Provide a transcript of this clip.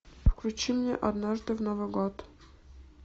включи мне однажды в новый год